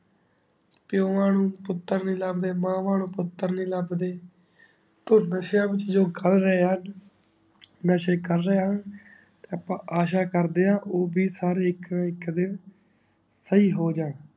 ਪੀਓਵਾਂ ਨੁ ਪੁਤਰ ਨਾਈ ਲਬ ਦੇ ਮਾਵਾਂ ਨੂ ਪੁਤਰ ਨਾਈ ਲਬ ਦੇ ਨਾਸ਼ਿਯਾ ਵਿਚ ਜੋ ਕਰ ਰਹੀ ਹੁਣ ਨਸ਼ੇ ਕਰ ਰਹੇ ਹੁਣ ਤੇ ਆਪਾਂ ਆਸ਼ਾ ਕਰ ਦੇ ਆ ਊ ਬੀ ਸਾਰੇ ਇਕ ਇਕ ਦਿਨ ਸਹੀ ਹੋ ਜਾਨ